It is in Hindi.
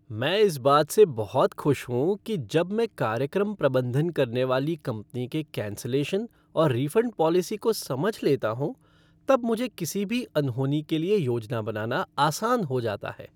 मैं इस बात से बहुत खुश हूँ कि जब मैं कार्यक्रम प्रबंधन करने वाली कंपनी के कैन्सलेशन और रिफ़ंड पॉलिसी को समझ लेता हूँ तब मुझे किसी भी अनहोनी के लिए योजना बनाना आसान हो जाता है।